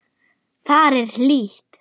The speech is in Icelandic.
Þar er hlýtt.